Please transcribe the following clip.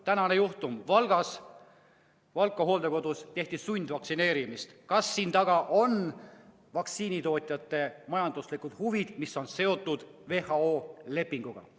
Tänane juhtum Valkla hooldekodus, kus tehti sundvaktsineerimist – kas selle taga on vaktsiinitootjate majanduslikud huvid, mis on seotud WHO lepinguga?